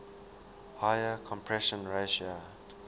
higher compression ratio